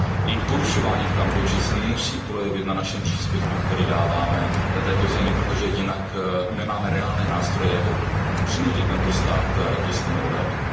Jejich porušování v Kambodži se musí projevit na našem příspěvku, který dáváme této zemi, protože jinak nemáme reálné nástroje, jak přinutit tento stát k jistému obratu.